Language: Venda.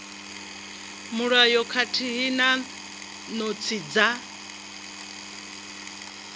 mulayo khathihi na notsi dza